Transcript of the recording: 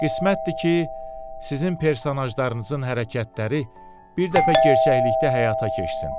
Qismətdir ki, sizin personajlarınızın hərəkətləri bir dəfə gerçəklikdə həyata keçsin.